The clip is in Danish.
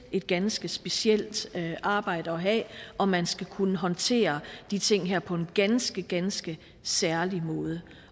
et ganske specielt arbejde at have og man skal kunne håndtere de ting her på en ganske ganske særlig måde